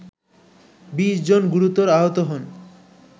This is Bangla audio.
২০ জন গুরুতর আহত হন